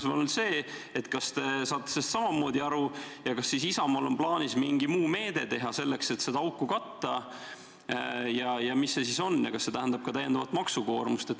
Minu küsimus on selline: kas te saate sellest samamoodi aru ja kas Isamaal on plaanis mõni muu meede, millega seda auku katta, ja mis see on ja kas see tähendab ka täiendavat maksukoormust?